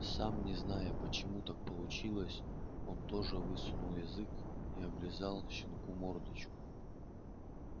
сам не зная почему так получилось он тоже высунул язык и облизал щенку мордочку